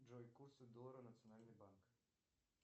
джой курсы доллара национальный банк